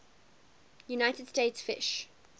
united states fish